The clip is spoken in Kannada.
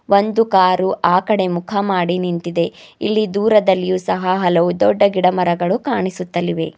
ಒಂದು ಕಾರು ಆ ಕಡೆ ಮುಖ ಮಾಡಿ ನಿಂತಿದೆ ಇಲ್ಲಿ ದೂರದಲ್ಲಿಯೂ ಸಹ ಹಲವು ದೊಡ್ಡ ಗಿಡ ಮರಗಳು ಕಾಣಿಸುತ್ತಲಿವೆ.